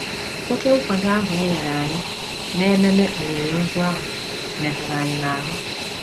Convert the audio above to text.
Oké nkwado ahụ e nyere anyị n’ememe olili ozu ahụ metụrụ anyị n’ahụ